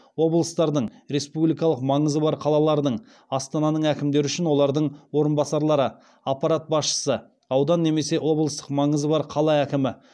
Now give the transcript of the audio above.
облыстардың республикалық маңызы бар қалалардың астананың әкімдері үшін олардың орынбасарлары аппарат басшысы аудан немесе облыстық маңызы бар қала әкімі